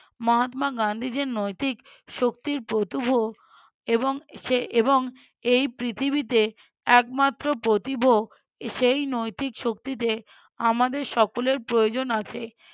মহাত্মা গান্ধী যে নৈতিক শক্তির প্ৰত্যুভ এবং সে এবং এই পৃথিবীতে একমাত্র প্রতীভ সেই নৈতিক শক্তিতে আমাদের সকলের প্রয়োজন আছে।